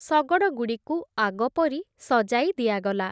ଶଗଡ଼ଗୁଡ଼ିକୁ ଆଗପରି ସଜାଇ ଦିଆଗଲା ।